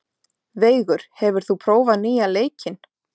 Veigur, hefur þú prófað nýja leikinn?